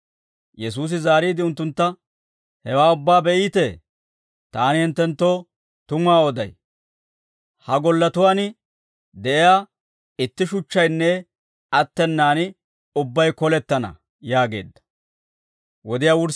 Yesuusi zaariide unttuntta, «Hewaa ubbaa be'iitee? Taani hinttenttoo tumuwaa oday; ha golletuwaan de'iyaa itti shuchchaynne attenaan ubbay kolettana» yaageedda.